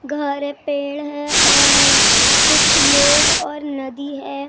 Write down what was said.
घर हैं पेड़ हैं और कुछ लोग और नदी हैं।